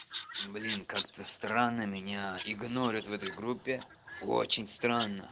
блин как-то странно меня игнорят в этой группе очень странно